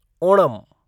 Onam